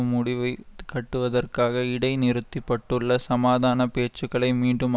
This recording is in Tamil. முடிவு கட்டுவதற்காக இடை நிறுத்திப்பட்டுள்ள சமாதான பேச்சுக்களை மீண்டும்